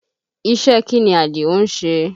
Ìṣe kí ni Àdìó ń ṣe?